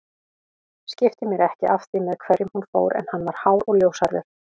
Skipti mér ekki af því með hverjum hún fór en hann var hár og ljóshærður